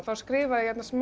skrifaði ég